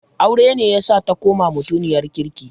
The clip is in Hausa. Aure ne yasa ta koma mutiniyar kirki.